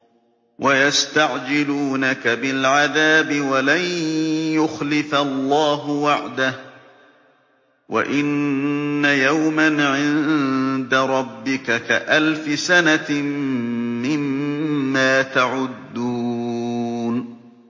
وَيَسْتَعْجِلُونَكَ بِالْعَذَابِ وَلَن يُخْلِفَ اللَّهُ وَعْدَهُ ۚ وَإِنَّ يَوْمًا عِندَ رَبِّكَ كَأَلْفِ سَنَةٍ مِّمَّا تَعُدُّونَ